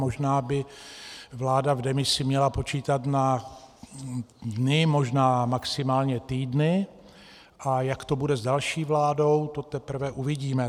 Možná by vláda v demisi měla počítat na dny, možná maximálně týdny, a jak to bude s další vládou, to teprve uvidíme.